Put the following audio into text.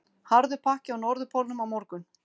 Harður pakki á Norðurpólnum á morgun